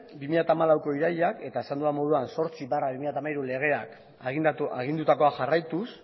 bi mila hamalauko irailean eta azaldu den moduan zortzi barra bi mila hamairu legeak agindutakoa jarraituz